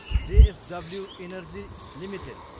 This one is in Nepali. JSW energy Ltd